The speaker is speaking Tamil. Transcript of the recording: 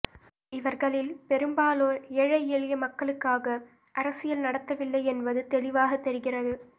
இவர்களில் பெரும்பாலோர் ஏழை எளிய மக்களுக்காக அரசியல் நடத்தவில்லை என்பது தெளிவாகத் தெரிகிறது